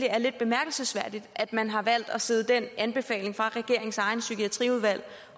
er lidt bemærkelsesværdigt at man har valgt at sidde den anbefaling fra regeringens eget psykiatriudvalg